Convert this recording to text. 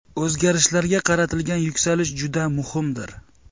O‘zgarishlarga qaratilgan yuksalish juda muhimdir.